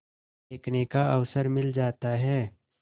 देखने का अवसर मिल जाता है